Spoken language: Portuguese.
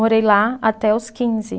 Morei lá até os quinze.